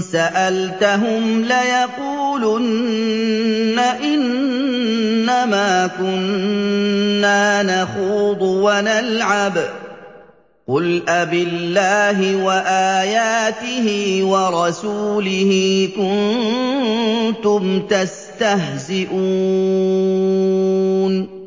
سَأَلْتَهُمْ لَيَقُولُنَّ إِنَّمَا كُنَّا نَخُوضُ وَنَلْعَبُ ۚ قُلْ أَبِاللَّهِ وَآيَاتِهِ وَرَسُولِهِ كُنتُمْ تَسْتَهْزِئُونَ